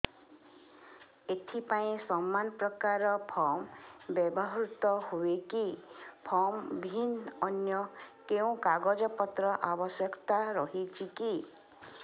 ଏଥିପାଇଁ ସମାନପ୍ରକାର ଫର୍ମ ବ୍ୟବହୃତ ହୂଏକି ଫର୍ମ ଭିନ୍ନ ଅନ୍ୟ କେଉଁ କାଗଜପତ୍ରର ଆବଶ୍ୟକତା ରହିଛିକି